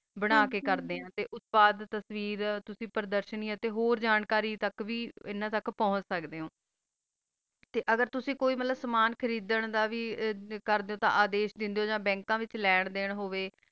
ਬਣਾ ਕਾ ਕਰ ਦਾ ਆ ਤਾ ਓਸ ਤੋ ਬਾਦ ਤਾਸ੍ਵੇਰ ਤੁਸੀਂ ਪਰ੍ਦਾਸ਼ਾਨੀ ਆ ਤਾ ਹੋਰ ਜਾਨ ਕਰੀ ਤਕ ਵੀ ਅਨਾ ਤਕ ਪੋੰਛ ਸਕਦਾ ਓਹੋ ਅਗਰ ਤੁਸੀਂ ਕੋਈ ਵਾਲਾ ਸਮਾਂ ਖਾਰਾਦਾਂ ਵਾਲਾ ਦਾ ਅਦੀਸ bank ਓਹੋ ਹੋਵਾ